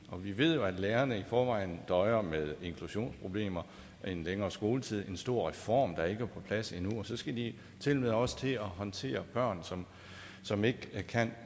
vi ved jo at lærerne i forvejen døjer med inklusionsproblemer en længere skoletid en stor reform der ikke er på plads endnu og så skal de tilmed også til at håndtere børn som som ikke kan